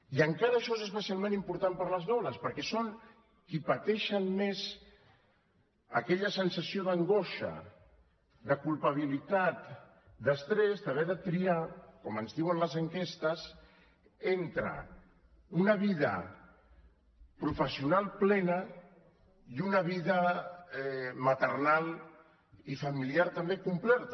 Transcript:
i encara això és especialment important per a les dones perquè són qui pateixen més aquella sensació d’angoixa de culpabilitat d’estrès d’haver de triar com ens diuen les enquestes entre una vida professional plena i una vida maternal i familiar també completa